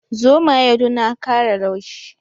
Zomaye du na kara laushi.